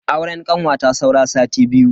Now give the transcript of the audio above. Auren kanwata saura sati biyu.